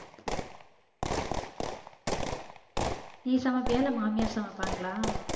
நீ சமைப்பியா இல்ல மாமியார் சமைப்பாங்களா